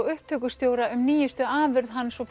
upptökustjóra um nýjustu afurð hans og